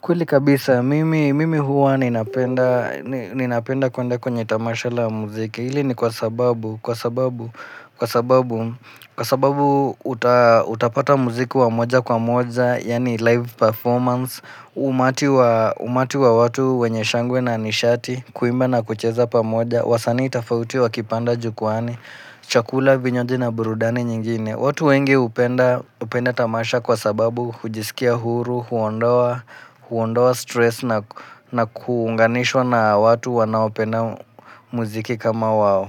Kweli kabisa, mimi huwa ninapenda kwenda kwenye tamasha la muziki, hili ni kwa sababu, kwa sababu, kwa sababu, kwa sababu utapata muziki wa moja kwa moja, yani live performance, umati wa watu wenye shangwe na nishati, kuimba na kucheza pamoja, wasanii tafauti wa kipanda jukwani, chakula, vinywaji na burudani nyingine. Watu wengi hupenda tamasha kwa sababu hujisikia huru, huonda stress na kuunganishwa na watu wanaopenda muziki kama wao.